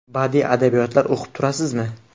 Badiiy adabiyotlar o‘qib turasizmi?